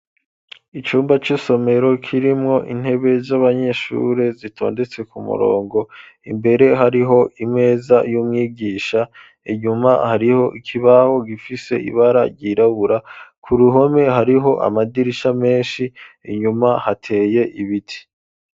Icumba c'isomero, kirimwo intebe z'abanyeshure, zitondetse ku murongo; imbere, hariho imeza, y'umwigisha; inyuma, hariho ikibaho, gifise ibara ryirabura; ku ruhome, hariho amadirisha menshi; inyuma hateye ibiti.